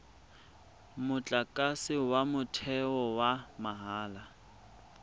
motlakase wa motheo wa mahala